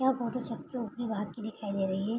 यह फोटो छत के ऊपरी भाग की दिखाई दे रही है।